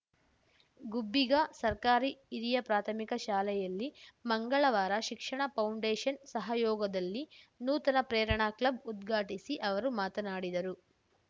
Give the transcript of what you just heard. ಗುಬ್ಬಿಗಾ ಸರ್ಕಾರಿ ಹಿರಿಯ ಪ್ರಾಥಮಿಕ ಶಾಲೆಯಲ್ಲಿ ಮಂಗಳವಾರ ಶಿಕ್ಷಣ ಫೌಂಡೇಶನ್‌ ಸಹಯೋಗದಲ್ಲಿ ನೂತನ ಪ್ರೇರಣಾ ಕ್ಲಬ್‌ ಉದ್ಘಾಟಿಸಿ ಅವರು ಮಾತನಾಡಿದರು